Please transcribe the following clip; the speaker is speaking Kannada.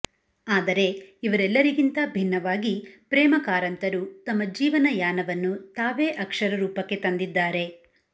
ಆದರೆ ಇವರೆಲ್ಲರಿಗಿಂತ ಭಿನ್ನವಾಗಿ ಪ್ರೇಮ ಕಾರಂತರು ತಮ್ಮ ಜೀವನ ಯಾನವನ್ನು ತಾವೇ ಅಕ್ಷರ ರೂಪಕ್ಕೆ ತಂದಿದ್ದಾರೆ